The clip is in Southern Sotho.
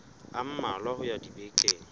a mmalwa ho ya dibekeng